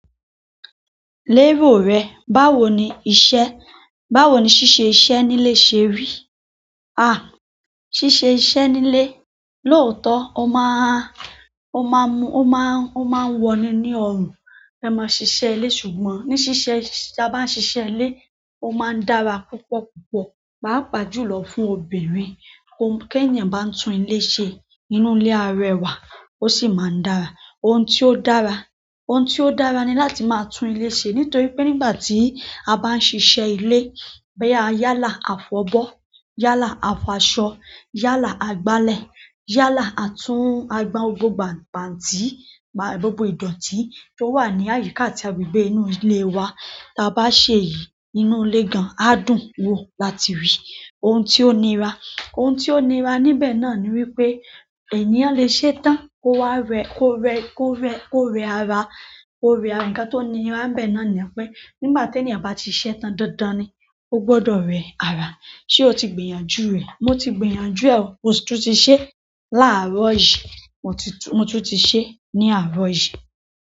Lérò rẹ, báwo ni iṣẹ́, báwo ni ṣíṣe iṣẹ́ nílé ṣe rí? Ah! Síṣe iṣẹ́ nílé, lòótọ́, ó máà n, ó máa n mú, ó máà n, ó máa ń wọni ní ọrùn. Ẹ máa ṣiṣẹ́ ilé ṣùgbọ́n ní ṣíṣe, tí a bá ń ṣiṣẹ́ ilé, ó máa ń dára púpọ̀ púpọ̀, pàápàá jùlọ fún obìnrin. Ohun k'eèyàn bá ń tún ilé ṣe, ínú ilé arẹwà, ó sì máa ń dára. Ohun tí ó dára, ohun tí ó dára ni láti máa tún ilé ṣe nítorí pé nígbà tí a bá ń ṣiṣẹ́ ilé, bo ya yálà á fọ́bọ́, yálà a f'aṣọ, yálà a gbálẹ̀, yálà a tún a gba gbogbo gban--bàǹtí, gbogbo ìdọ̀tí tó wà ní àyíká àti agbegbé inú ilé wa. Ta bá sẹ èyí, ínú ilé gan, á dùn-ún wò láti rí. Ohun tí ó nira, ohun tí ó nira níbẹ̀ náà ni wípé ènìyàn lè ṣẹ́ tán, kó wá rẹ́, kó rẹ́, kó rẹ́, kó rẹ́ ara, kó rẹ́ ara. Ǹkan tó nira nbẹ̀ náà ni pé nígbà teèyàn bá siṣẹ́ tán dándán ni ó gbọdọ̀ rẹ́ ara. Ṣé o ti gbìyànjú rẹ̀? Mo ti gbìyànjú ẹ̀ o. Mo tún ti sẹ láàárọ̀ yìí. Mo ti tun-- mo tun ti se ni àárọ̀ yìí.